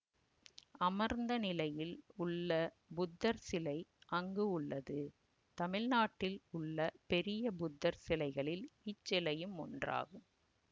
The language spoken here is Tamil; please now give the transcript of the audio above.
அமர்ந்த நிலையில் உள்ள புத்தர் சிலை அங்கு உள்ளது தமிழ்நாட்டில் உள்ள பெரிய புத்தர் சிலைகளில் இச்சிலையும் ஒன்றாகும்